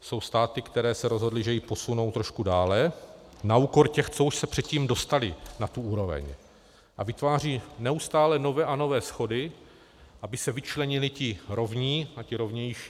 Jsou státy, které se rozhodly, že ji posunou trošku dále na úkor těch, co už se předtím dostaly na tu úroveň, a vytváří neustále nové a nové schody, aby se vyčlenili ti rovní a ti rovnější.